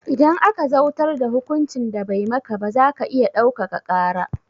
Idan aka zautar da hukuncin da bai maka ba zaka iya ɗaukaka ƙara